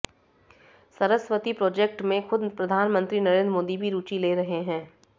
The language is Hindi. सरस्वती प्रोजेक्ट में खुद प्रधानमंत्री नरेंद्र मोदी भी रुचि ले रहे हैं